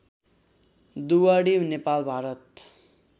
Duwadi Nepal Bharat